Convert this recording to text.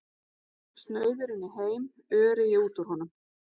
Snauður inn í heim, öreigi út úr honum.